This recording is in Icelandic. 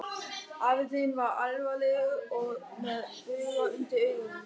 Afi þinn var alvarlegur og með bauga undir augunum.